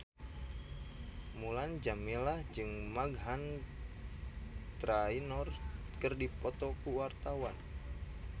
Mulan Jameela jeung Meghan Trainor keur dipoto ku wartawan